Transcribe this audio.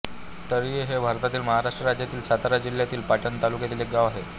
तळीये हे भारतातील महाराष्ट्र राज्यातील सातारा जिल्ह्यातील पाटण तालुक्यातील एक गाव आहे